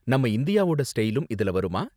நம்ம இந்தியாவோட ஸ்டைலும் இதுல வருமா?